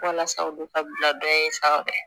Walasa olu ka bila dɔ in sanfɛ